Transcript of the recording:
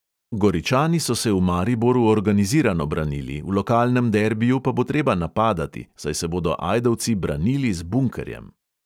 Goričani so se v mariboru organizirano branili, v lokalnem derbiju pa bo treba napadati, saj se bodo ajdovci branili z bunkerjem.